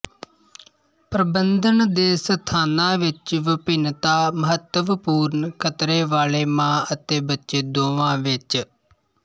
ਪ੍ਰਬੰਧਨ ਦੇ ਸਥਾਨਾਂ ਵਿੱਚ ਵਿਭਿੰਨਤਾ ਮਹੱਤਵਪੂਰਨ ਖਤਰੇ ਵਾਲੇ ਮਾਂ ਅਤੇ ਬੱਚੇ ਦੋਵਾਂ ਵਿੱਚ